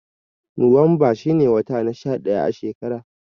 Nowanba shi ne wata na sha ɗaya a shekara.